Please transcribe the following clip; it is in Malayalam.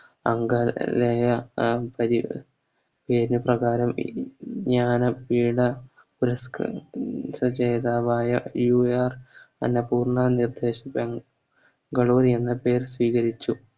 അംഗലേയ പ്രകാരം എ വിജ്ഞാന പീഠ പുരസ്ക്കാരം ജേതാവായ എ ആർ അന്നപൂർണ എന്ന പേർ സ്വീകരിച്ചു